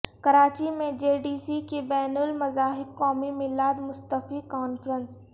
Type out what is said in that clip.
کراچی میں JD C کی بین المذاہب قومی میلاد مصطفی کانفرنس